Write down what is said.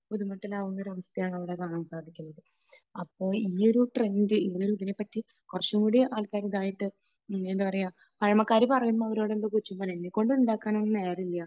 ബുദ്ധിമുട്ടിലാക്കുന്ന ഒരു അവസ്ഥയാണ് ഇവിടെ കാണാൻ സാധിക്കുന്നത്. അപ്പോൾ ഈ ഒരു ട്രെൻഡ് ഈയൊരു ഇതിനെപ്പറ്റി കുറച്ചുകൂടി ആൾക്കാർ ഇത് ആയിട്ട് എന്താ പറയുക, പഴമക്കാർ പറയുമ്പോൾ അവരോട് പറയും എന്നെക്കൊണ്ട് ഉണ്ടാക്കാൻ ഒന്നും നേരമില്ല